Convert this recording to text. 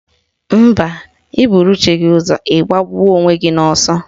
Mba, ị buru chi gị ụzọ ị gbagbuo onwe gị n'ọsọ